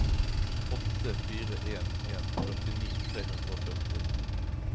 åtte fire en en førtini tre hundre og førti